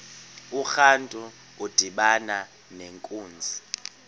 urantu udibana nenkunzi